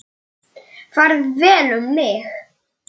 Farið vel um mig?